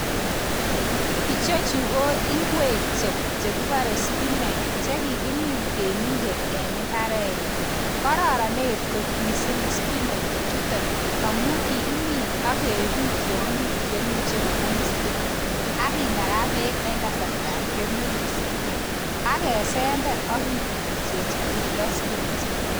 Ichechu ko ingwek che kikuren spinach chekikimin temindet en imbarenyin kororonen kot missing spinach ijuton amun kikimin ak kebit tiongik cheimuche kongem spinach ak kinakaa beek en kasartab kemeut spinach ak kesember ak kitutjineji timdo spinach